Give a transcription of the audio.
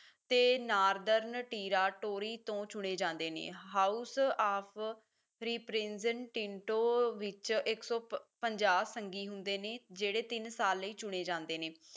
ਤੇ northern territory ਤੋਂ ਚੁਣੇ ਜਾਂਦੇ ਨੇ house of the prison tinto ਵਿੱਚ ਇੱਕ ਸੌ ਪੰਜਾਹ ਸੰਗੀ ਹੁੰਦੇ ਨੇ ਜਿਹੜੇ ਤਿੰਨ ਸਾਲ ਲਈ ਚੁਣੇ ਜਾਂਦੇ ਨੇ